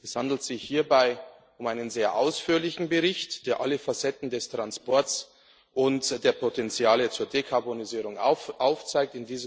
Es handelt sich hier um einen sehr ausführlichen Bericht, der alle Facetten des Transports und der Potentiale zur Dekarbonisierung aufzeigt.